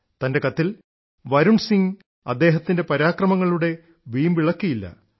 തൻറെ കത്തിൽ വരുൺ സിംഗ് അദ്ദേഹത്തിൻറെ പരാക്രമങ്ങളുടെ വീമ്പിളക്കിയില്ല